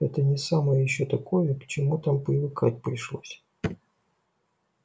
это не самое ещё такое к чему там привыкать пришлось